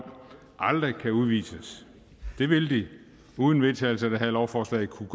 aldrig kan udvises det vil de uden vedtagelse af det her lovforslag kunne